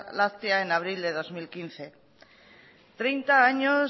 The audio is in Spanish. láctea en abril de dos mil quince treinta años